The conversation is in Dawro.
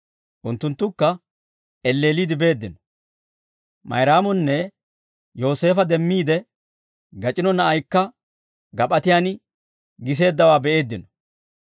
Unttunttukka elleelliide beeddino. Mayraamonne Yooseefo demmiide, gacino na'aykka gap'atiyaan giseeddawaa be'eeddino.